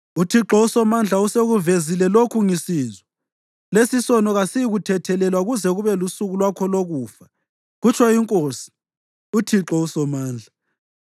UThixo uSomandla usekuvezile lokhu ngisizwa: “Lesisono kasiyikuthethelelwa kuze kube lusuku lwakho lokufa,” kutsho iNkosi, uThixo uSomandla.